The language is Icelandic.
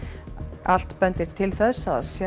allt bendir til þess